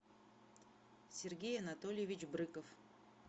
сергей анатольевич брыков